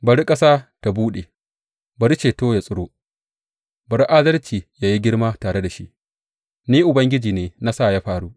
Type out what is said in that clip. Bari ƙasa ta buɗe, bari ceto ya tsiro, bari adalci ya yi girma tare da shi; ni, Ubangiji ne, na sa ya faru.